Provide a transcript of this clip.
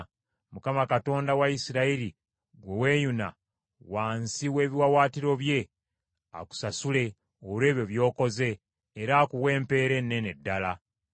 Mukama Katonda wa Isirayiri gwe weeyuna wansi w’ebiwaawaatiro bye, akusasule olw’ebyo by’okoze. Mukama Katonda wa Isirayiri, oyo gwe weewagamye wansi w’ebiwawaatiro bye, akuwe empeera ennene ddala.”